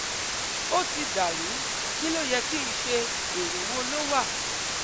ó ti dà rú, kí ló yẹ ki n ṣe? ero wo ló wà?